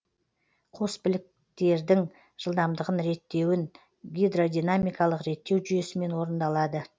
қос біліктердің жылдамдығын реттеуін гидродинамикалық реттеу жүйесімен орындалады